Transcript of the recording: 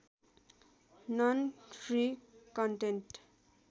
non free content